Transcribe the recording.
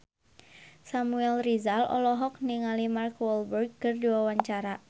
Samuel Rizal olohok ningali Mark Walberg keur diwawancara